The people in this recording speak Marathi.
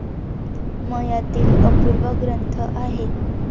मयातील अपूर्व ग्रंथ आहे.